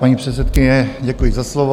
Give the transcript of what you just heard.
Paní předsedkyně, děkuji za slovo.